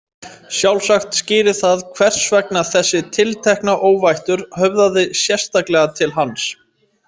Sjálfsagt skýrir það hvers vegna þessi tiltekna óvættur höfðaði sérstaklega til hans.